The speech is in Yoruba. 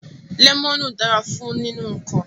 Lemonu dara fun ninu nnkan